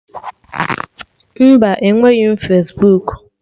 Mba, enweghị Fesbuku